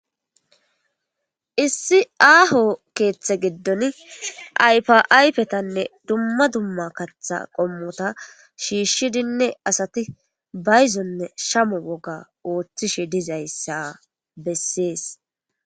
issi aaho keeththe giddon aypa aypetanne dumma dumma katha qommota shiishshidinne asati bayzonne shamo woga ooththishe dizayssa bessees